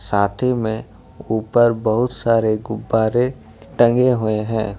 में ऊपर बहुत सारे गुब्बारे टंगे हुए हैं।